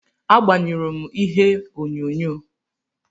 Agbanyụrụ m ihe onyonyo.